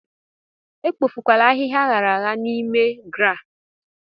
Ekpofukwala ahịhịa aghara aghara n'ime GRA!